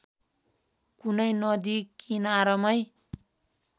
कुनै नदी किनारमै